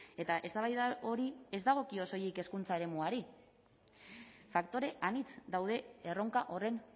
eta eztabaida hori ez dagokio soilik hezkuntza eremuari faktore anitz daude erronka horren